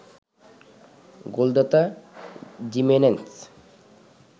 গোলদাতা জিমেনেস